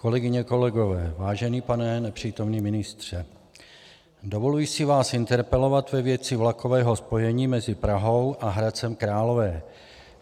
Kolegyně, kolegové, vážený pane nepřítomný ministře, dovoluji si vás interpelovat ve věci vlakového spojení mezi Prahou a Hradcem Králové.